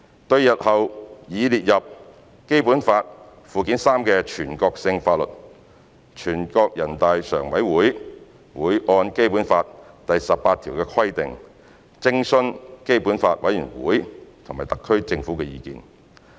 對日後擬列入《基本法》附件三的全國性法律，人大常委會會按《基本法》第十八條的規定，徵詢基本法委員會和特區政府的意見。